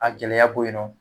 A gɛlɛya bɔ yen nɔ